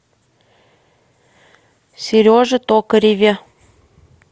сереже токареве